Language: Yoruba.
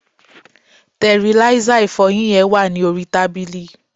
tẹriláísà ìfọyín yen wa ni orí tábìlì